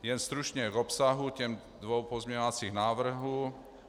Jen stručně k obsahu těch dvou pozměňovacích návrhů.